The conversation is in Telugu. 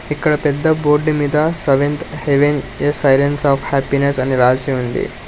ఇక్కడ పెద్ద బోర్డు మీద seventh heaven a silence of happiness అని రాసి ఉంది.